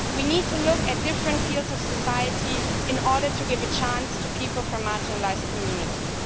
We need to look at different fields of society in order to give a chance to people from marginalised communities.